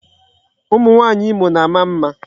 Ụmụ nwaanyị Imo na-ama mma.